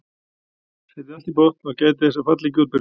Setjið allt í botn og gætið þess að falla ekki útbyrðis.